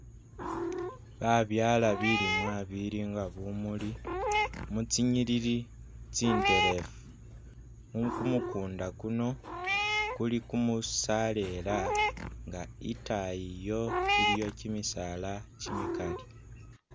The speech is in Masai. Babyaala bilimwa bilinga bumuli mu tsinyilili tsinterefu, mu kumukunda kuno kuli kumusalela nga itayi iyo iliyo kimisaala kimikali.